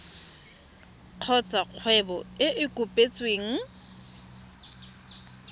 kgotsa kgwebo e e kopetsweng